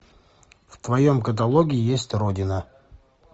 в твоем каталоге есть родина